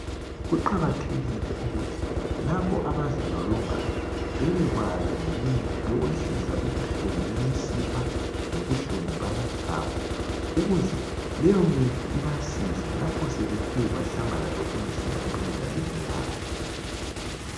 kuqakathekile ukuthi labo abazilolongayo bebekwazi ngemithi yokwehlisa ubuhlungu bmisipha lobuhlungu bamathambo ukuze leyo mithi ibasize lapho sebethe bahlangana lobunzima emidlalweni yabo